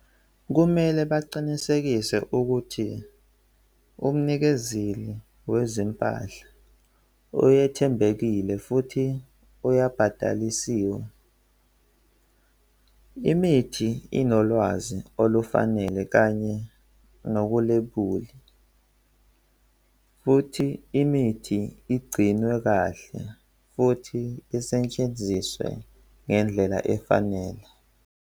Kumele baqinisekise ukuthi umnikezeli wezempahla oyethembekile futhi uyabhatalisiwe. Imithi inolwazi olufanele kanye nokulebuli futhi imithi igcinwe kahle futhi isetshenziswe ngendlela efanele.